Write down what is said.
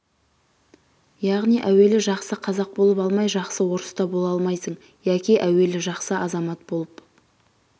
яғни әуелі жақсы қазақ болып алмай жақсы орыс та бола алмайсың яки әуелі жақсы азамат болып